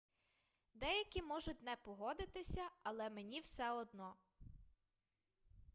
деякі можуть не погодитися але мені все одно